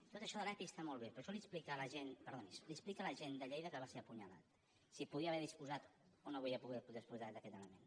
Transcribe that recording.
tot això de l’epi està molt bé però això li ho explica a l’agent de lleida que va ser apunyalat si podia haver disposat o no havia pogut disposar d’aquest element